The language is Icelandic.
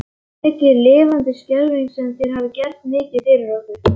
Mikið lifandis skelfing sem þér hafið gert mikið fyrir okkur.